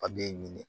A b'i ɲininka